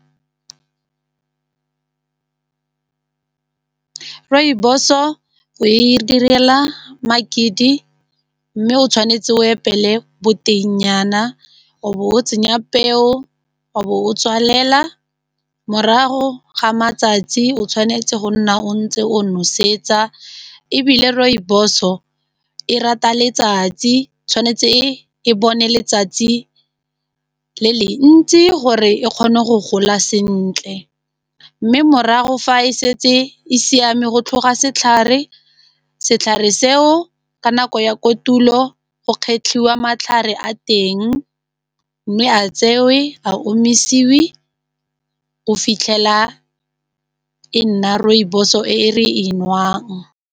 Rooibos-o e direla makedi mme o tshwanetse o epele boteng-nyana o bo o tsenya peo, o bo o tswalela morago ga matsatsi o tshwanetse go nna o ntse o nosetsa ebile rooibos-o e rata letsatsi tshwanetse e bone letsatsi le le ntsi gore e kgone go gola sentle, mme morago fa e setse e siame go tlhoga setlhare, setlhare seo ka nako ya kotulo go kgetlhiwa matlhare a teng mme a tsewe a omisiwe go o fitlhela e nna rooibos-o e re e nwang.